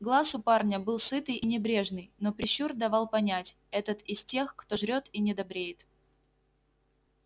глаз у парня был сытый и небрежный но прищур давал понять этот из тех кто жрёт и не добреет